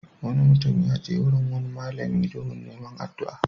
Wani mutum ya je wurin wani malami domin neman addu'a.